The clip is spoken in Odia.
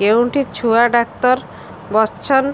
କେଉଁଠି ଛୁଆ ଡାକ୍ତର ଵସ୍ଛନ୍